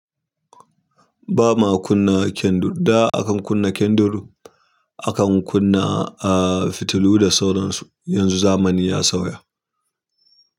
Ba ma kunna kendur, da akan kunna kendur akan kunna fitilu da sauran su, yanzu zamani ya sauya.